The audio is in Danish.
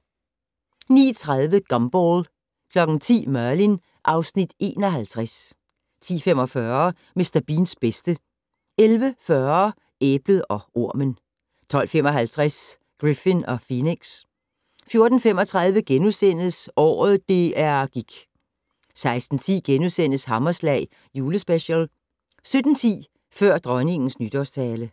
09:30: Gumball 10:00: Merlin (Afs. 51) 10:45: Mr. Beans bedste 11:40: Æblet og ormen 12:55: Griffin & Phoenix 14:35: Året DR gik * 16:10: Hammerslag Julespecial * 17:10: Før Dronningens Nytårstale